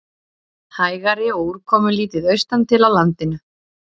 Hægari og úrkomulítið austantil á landinu